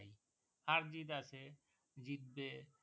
হার জিৎ আছে জিতবে